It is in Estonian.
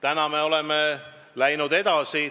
Nüüd me oleme läinud edasi.